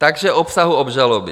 K obsahu obžaloby.